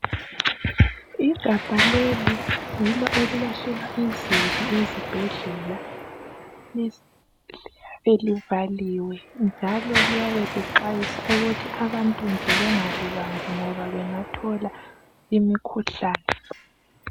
Igabha leli yilo elilahlelwa izibi ezibhedlela. Belivaliwe njalo liyabe lixwayisa ukuthi abantu nje bengalibambi ngoba bengathola imikhuhlane.